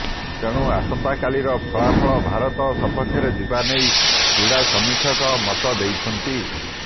ତେଣୁ ଆସନ୍ତାକାଲିର ଫଳାଫଳ ଭାରତ ସପକ୍ଷରେ ଯିବାନେଇ କ୍ରୀଡା ସମୀକ୍ଷକ ମତ ଦେଉଛନ୍ତି